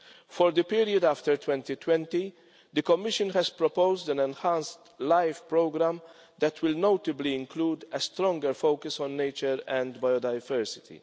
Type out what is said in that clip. For the period after 2020, the Commission has proposed an enhanced LIFE programme that will notably include a stronger focus on nature and biodiversity.